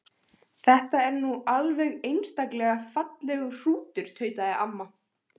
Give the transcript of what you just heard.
Þetta er nú alveg einstaklega fallegur hrútur tautaði amma.